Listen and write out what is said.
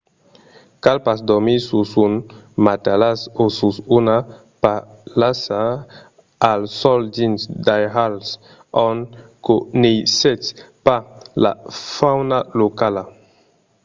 cal pas dormir sus un matalàs o sus una palhassa al sòl dins d'airals ont coneissètz pas la fauna locala